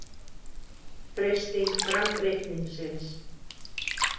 Freisting framreikningsins